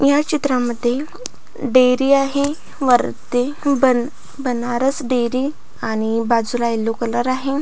या चित्रामध्ये डेरी आहे वरती बना बनारस डेरी आणि बाजूला यल्लो कलर आहे.